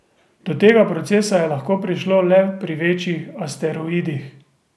Do tega procesa je lahko prišlo le pri večjih asteroidih.